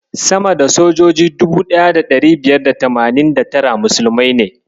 Sama da sojoji 1589 musulmai ne.